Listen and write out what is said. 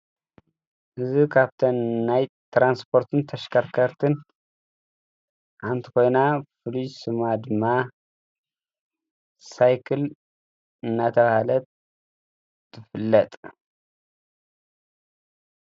እዚ ካብተን ናይ ትራንስፖርትን ተሽከርከርትን ሓንቲ ኮይና ፍሉይ ስማ ድማ ሳይክል እናተብሃለት ትፍለጥ።